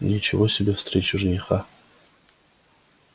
ничего себе встреча жениха